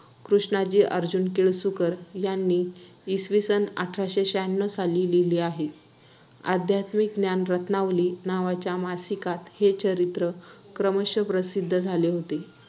कृष्णाजी अर्जुन केळुसकर यांनी इसवी सन अठराशे शहान्नव साली लिहिले. ’आध्यात्मिक ज्ञान रत्‍नावली’ नावाच्या मासिकात हे चरित्र क्रमश प्रसिद्ध झाले होते.